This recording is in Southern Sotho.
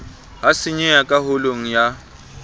ha senyeha ka holong ya